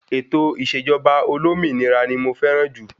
Ètò ìṣèjọba olómìnira ní mo fẹràn jù.